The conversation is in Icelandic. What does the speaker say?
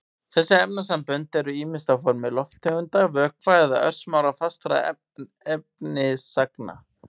Þessi efnasambönd eru ýmist á formi lofttegunda, vökva eða örsmárra fastra efnisagna.